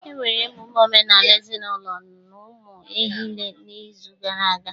E mere emume omenala ezinụlọ ụmụehile n'izu gara aga.